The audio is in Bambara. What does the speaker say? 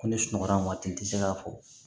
Ko ne sunɔgɔra waati tɛ se k'a fɔ